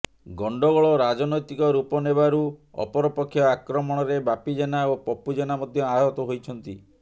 ଗଣ୍ଡଗୋଳ ରାଜନୈତିକ ରୂପ ନେବାରୁ ଅପରପକ୍ଷ ଆକ୍ରମଣରେ ବାପି ଜେନା ଓ ପପୁ ଜେନା ମଧ୍ୟ ଆହତ ହୋଇଛନ୍ତି